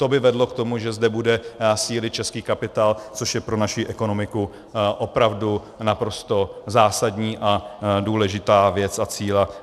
To by vedlo k tomu, že zde bude sílit český kapitál, což je pro naši ekonomiku opravdu naprosto zásadní a důležitá věc a cíl.